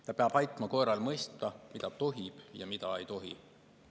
Ta peab aitama koeral mõista, mida tohib ja mida ei tohi.